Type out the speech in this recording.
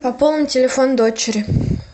пополни телефон дочери